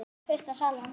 Hugrún: Fyrsta salan?